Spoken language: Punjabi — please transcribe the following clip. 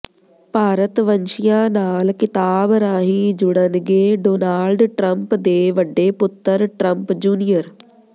ਭਾਰਤਵੰਸ਼ੀਆਂ ਨਾਲ ਕਿਤਾਬ ਰਾਹੀਂ ਜੁੜਨਗੇ ਡੋਨਾਲਡ ਟਰੰਪ ਦੇ ਵੱਡੇ ਪੁੱਤਰ ਟਰੰਪ ਜੂਨੀਅਰ